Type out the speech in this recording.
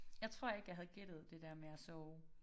Jeg tror ikke jeg havde gættet det der med at sove